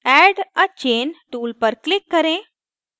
add a chain tool पर click करें